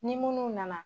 Ni munnu nana